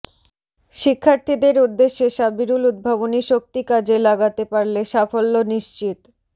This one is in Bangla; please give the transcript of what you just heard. শিক্ষার্থীদের উদ্দেশে সাবিরুল উদ্ভাবনী শক্তি কাজে লাগাতে পারলে সাফল্য নিশ্চিত